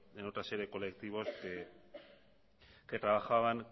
en otra serie de colectivos que trabajaban